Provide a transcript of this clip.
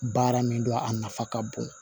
Baara min don a nafa ka bon